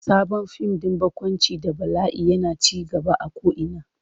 Sabon fim din barkwanci da bala'i yana ci gaba a ko'ina.